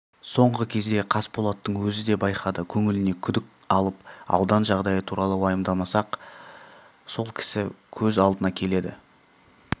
соңғы кезде қасболаттың өзі де байқады көңіліне күдік алып аудан жағдайы туралы уайымдаса-ақ сол кісі көз алдына келеді